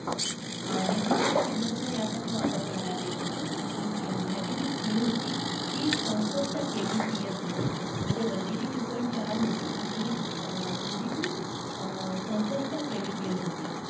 अं digital signals यासाठी वापर करण्यात येत असे. आणि ह्याची जी speed होती, ती चौसष्ट KBPS होती. म्हणजे one G ची two point चार आणि two G ची चौसष्ट KBPS होती.